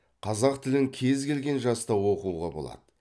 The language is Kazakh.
қазақ тілін кез келген жаста оқуға болады